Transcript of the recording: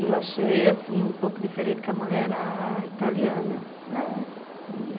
E eu achei, assim, um pouco diferente, porque a mulher era italiana.